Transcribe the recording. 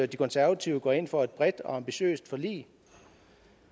de konservative går ind for et bredt og ambitiøst forlig